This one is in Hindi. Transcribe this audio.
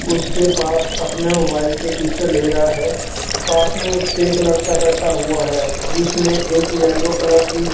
उसके पास अपने मोबाइल से पिक्चर ले रहा है पास में उसके एक लड़का बैठा हुआ है जिसने एक येलो कलर की--